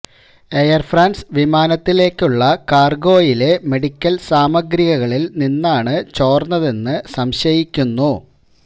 air France വിമാനത്തിലേക്കുള്ള കാര്ഗോയിലെ medical സാമഗ്രികളില് നിന്നാണ് ചോര്ന്നതെന്ന് സംശയിക്കുന്നു